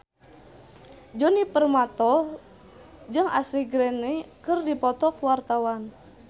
Djoni Permato jeung Ashley Greene keur dipoto ku wartawan